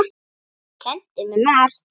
Þú kenndir mér margt.